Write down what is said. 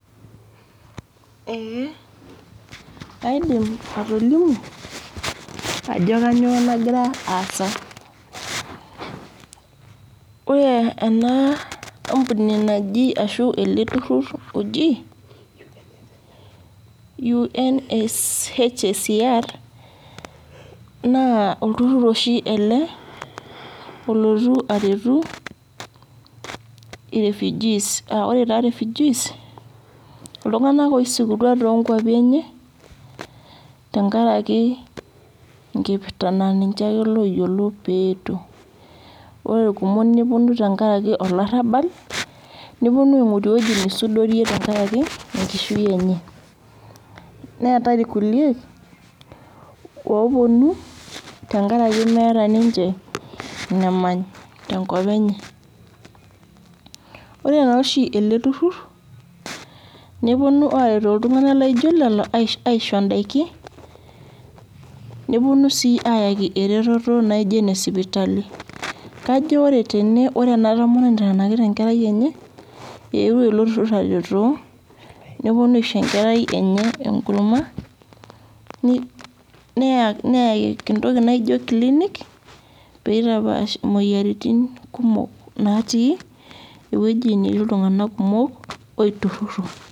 Ee kaidim atolimu ajo kanyioo nagira aasa. Ore ena ampuni naji ashu ele turrurr oji UNSHSCR, naa olturrur oshi ele olotu aretu i refugees. Ah ore taa refugees, iltung'anak oisikutua tonkwapi enye, tenkaraki enkipirta na ninche ake loyiolo petuo. Ore irkumok neponu tenkaraki olarrabal, neponu aing'oru ewueji nisudorie tenkaraki enkishui enye. Neetae irkulie oponu tenkaraki meeta ninche inemany tenkop enye. Ore noshi ele turrurr, neponu aretu iltung'anak laijo lelo aisho daiki, neponu si ayaki ereteto naijo ine sipitali. Kajo ore tene ore ena tomononi naitanakita enkerai enye, ewuo ilo turrurr aretoo, neponu aisho enkerai enye enkurma, neyaki entoki naijo klinik, pitapaash imoyiaritin kumok natii ewueji natii iltung'anak kumok, oiturrurro.